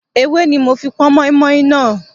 Ewé ní mo fi pọn moinmoin náà.